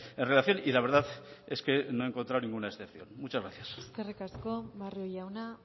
en relación y la verdad es que no he encontrado ninguna excepción muchas gracias eskerrik asko barrio jauna